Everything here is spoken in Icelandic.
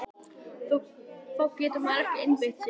Þá getur maður ekki einbeitt sér!